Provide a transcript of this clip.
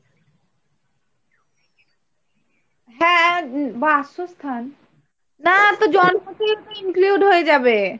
হ্যাঁ বাসস্থান না তো জন্মতে এগুলো included হয়ে যাবে।